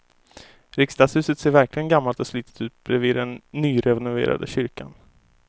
Riksdagshuset ser verkligen gammalt och slitet ut bredvid den nyrenoverade kyrkan.